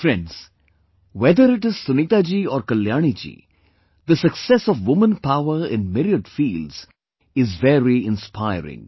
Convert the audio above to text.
Friends, whether it is Sunita ji or Kalyani ji, the success of woman power in myriad fields is very inspiring